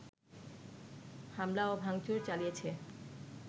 হামলা ও ভাংচুর চালিয়েছে